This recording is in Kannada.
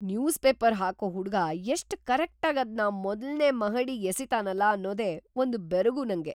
ನ್ಯೂಸ್‌ಪೇಪರ್ ಹಾಕೋ ಹುಡ್ಗ ಎಷ್ಟ್ ಕರೆಕ್ಟಾಗಿ‌ ಅದ್ನ ಮೊದಲ್ನೇ ಮಹಡಿಗ್ ಎಸಿತಾನಲ ಅನ್ನೋದೇ ಒಂದ್‌ ಬೆರಗು ನಂಗೆ.